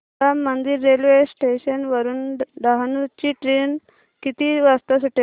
Ram Mandir railway station वरुन डहाणू ची train किती वाजता सुटेल